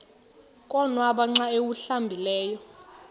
konwaba xa awuhlambileyo